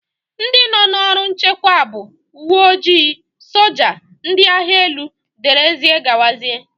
Ndị nọ n'ọrụ nchekwa bụ: ùwé ojii, soja, ndị agha élú wdz